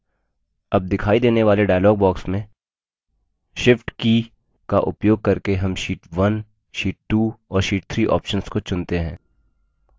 अब दिखाई देने वाले dialog box में shift की का उपयोग करके हम sheet 1 sheet 2 और sheet 2 options को चुनते हैं